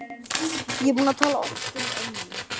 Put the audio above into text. Ég er búin að tala oft um ömmu.